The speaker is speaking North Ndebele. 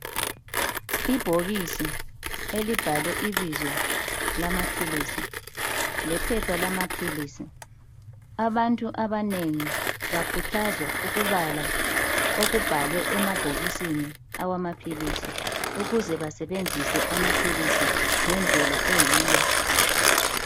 Ibhokisi elibhalwe ibizo lamaphilisi lephepha lamaphilisi. Abantu abanengi bakhuthazwa ukubala okubhalwe emabhokisini awamaphilisi. Ukuze basebenzise amaphilisi ngendlela eyiyo.